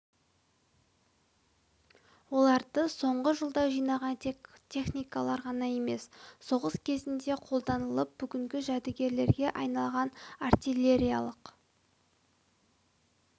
оларды соңғы жылда жинаған тек техникалар ғана емес соғыс кезінде қолданылып бүгінде жәдігерге айналған артиллериялық